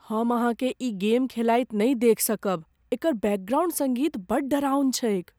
हम अहाँकेँ ई गेम खेलाइत नहि देखि सकब। एकर बैकग्राउन्ड सङ्गीत बड़ डेराउन छैक।